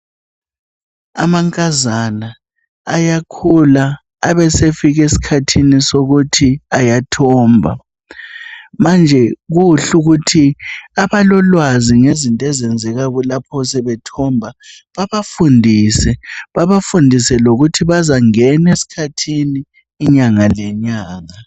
Amankazana ayakhula, abe esefika esikhathini sokuthi ayathomba. Manje kuhle ukuthi abalolwazi ngezinto ezenzeka lapho sebethomba babafundise, babafundise lokuthi bazangena esikhathini inyanga lenyanga.